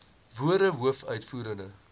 woorde hoof uitvoerende